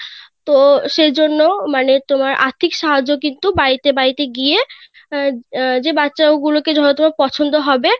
তো সেই জন্য মানে আর্থিক সাহায্য কিন্তু বাড়িতে বাড়িতে গিয়ে আহ যে বাচ্চা গুলো কে হয়তো পছন্দ হবে